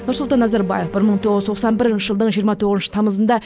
нұрсұлтан назарбаев бір мың тоғыз тоқсан бірінші жылдың жиырма тоғызыншы тамызында